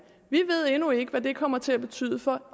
vi ved endnu ikke hvad det kommer til at betyde for